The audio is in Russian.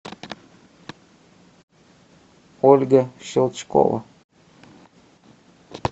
ольга щелчкова